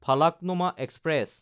Falaknuma express